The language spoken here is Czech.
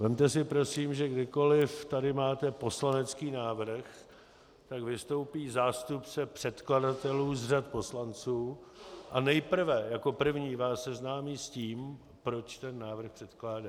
Vezměte si prosím, že kdykoliv tady máte poslanecký návrh, tak vystoupí zástupce předkladatelů z řad poslanců a nejprve jako první vás seznámí s tím, proč ten návrh předkládá.